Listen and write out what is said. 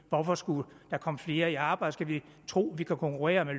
hvorfor skulle der komme flere i arbejde skal vi tro at vi kan konkurrere